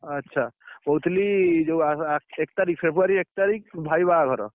ଆଛା କହୁଥିଲି ଯୋଉ ଏକ ତାରିଖ February ଏକ ତାରିଖ ଭାଇ ବାହାଘର